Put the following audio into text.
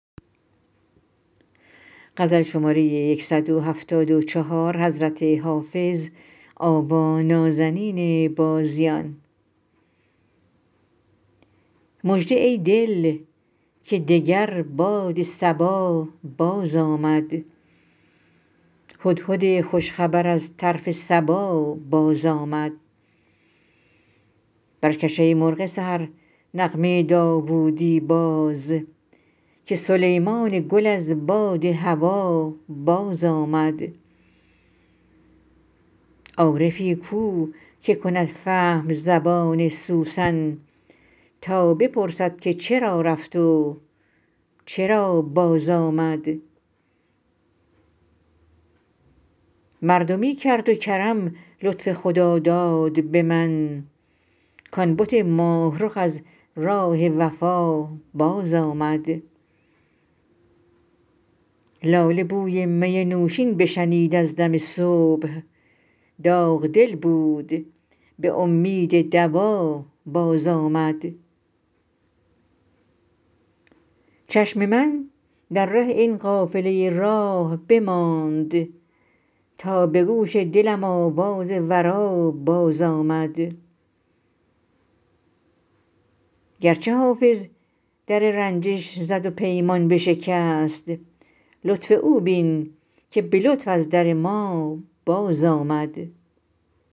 مژده ای دل که دگر باد صبا بازآمد هدهد خوش خبر از طرف سبا بازآمد برکش ای مرغ سحر نغمه داوودی باز که سلیمان گل از باد هوا بازآمد عارفی کو که کند فهم زبان سوسن تا بپرسد که چرا رفت و چرا بازآمد مردمی کرد و کرم لطف خداداد به من کـ آن بت ماه رخ از راه وفا بازآمد لاله بوی می نوشین بشنید از دم صبح داغ دل بود به امید دوا بازآمد چشم من در ره این قافله راه بماند تا به گوش دلم آواز درا بازآمد گرچه حافظ در رنجش زد و پیمان بشکست لطف او بین که به لطف از در ما بازآمد